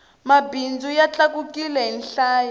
mabindzu ya tlakukile hi nhlayo